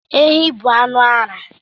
Efi bụ anu ara